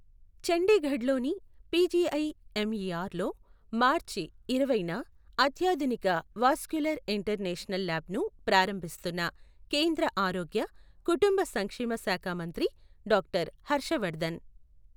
చండీగఢ్ లోని పిజిఐఎంఇఆర్ లో మార్చి ఇరవైన అత్యాధునిక వాస్క్యులార్ ఇంటర్వెన్షనల్ లాబ్ ను ప్రారంభిస్తున్న కేంద్ర ఆరోగ్య, కుటుంబ సంక్షేమ శాఖామంత్రి డాక్టర్ హర్షవర్ధన్.